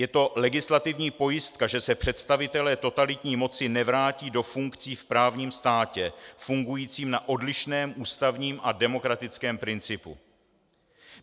Je to legislativní pojistka, že se představitelé totalitní moci nevrátí do funkcí v právním státě fungujícím na odlišném ústavním a demokratickém principu.